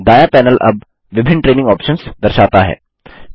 दायाँ पैनल अब विभिन्न ट्रेनिंग आप्शंस दर्शाता है